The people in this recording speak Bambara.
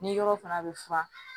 Ni yɔrɔ fana bɛ furan